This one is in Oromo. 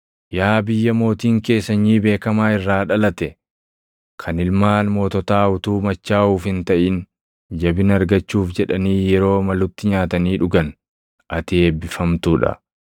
Yaa biyya mootiin kee sanyii beekamaa irraa dhalate, kan ilmaan moototaa utuu machaaʼuuf hin taʼin, jabina argachuuf jedhanii yeroo malutti nyaatanii dhugan, // ati eebbifamtuu dha.